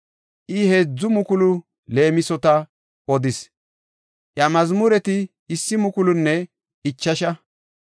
I heedzu mukulu leemisota odis; iya mazmureti issi mukulunne ichasha.